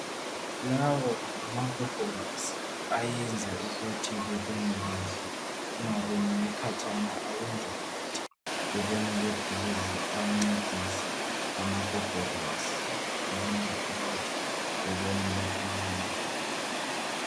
Lawo ngama gogorosi ayenza ukuthi bebone kahle bengaboneli khatshana, ayenza ukuthi bebonele eduze ayancedisa amagogorosi ayenza umuntu abonele eduze.